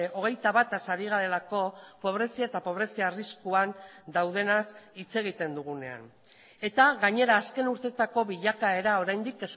hogeita bataz ari garelako pobrezia eta pobrezia arriskuan daudenaz hitz egiten dugunean eta gainera azken urteetako bilakaera oraindik